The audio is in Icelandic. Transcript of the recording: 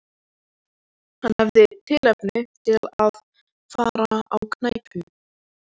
Hann hafði tilefni til að fara á knæpu.